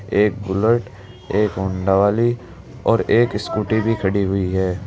एक बुलेट एक होंडा वाली और एक स्कूटी भी खड़ी हुई है।